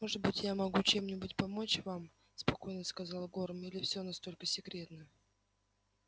может быть я могу чем-нибудь вам помочь спокойно сказал горм или все настолько секретно